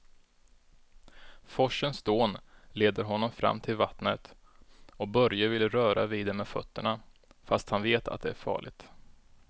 Forsens dån leder honom fram till vattnet och Börje vill röra vid det med fötterna, fast han vet att det är farligt.